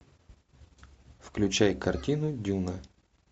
включай картину дюна